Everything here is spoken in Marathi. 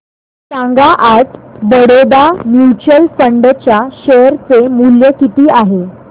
सांगा आज बडोदा म्यूचुअल फंड च्या शेअर चे मूल्य किती आहे